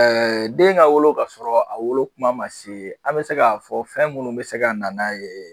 Ɛɛ den ka wolo ka sɔrɔ a wolo kuma ma se ,an be se ka fɔ fɛn munnu be se ka na n'a ye.